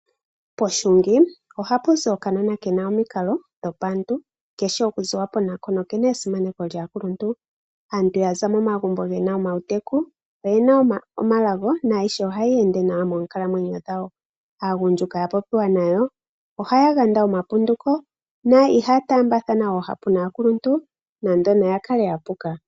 Pohungi ohapu zi okanona ke na omikalo dhopaantu, keshi oku ziwa po nako noke na esimaneko lyaakuluntu. Aantu mbono ya za momagumbo ge na omawuteku oye na omalago naayihe ohayi ende nawa moonkalamwenyo dhawo. Aagundjuka mboka ya po piwa nayi ohaya yanda omapunduko na i haya taambathana oohapu naakuluntu nande oya kale ya puka.